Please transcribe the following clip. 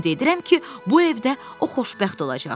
Ümid edirəm ki, bu evdə o xoşbəxt olacaq.